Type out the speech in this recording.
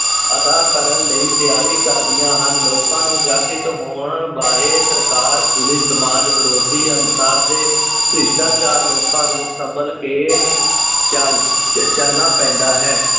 ਅਦਾ ਕਰਨ ਲਈ ਤਿਆਰੀ ਕਰਦੀਆਂ ਹਨ, ਲੋਕਾਂ ਨੂੰ ਜਾਗ੍ਰਿਤ ਹੋਣ ਬਾਰੇ ਸਰਕਾਰ, ਪੁਲਿਸ, ਸਮਾਜ ਵਿਰੋਧੀ ਅਨਸਰ ਤੇ ਭ੍ਰਿਸ਼ਟਾਚਾਰ ਲੋਕਾਂ ਨੂੰ ਵੀ ਸੰਭਲ ਕੇ ਚੱਲ ਚ~ ਚੱਲਣਾ ਪੈਂਦਾ ਹੈ।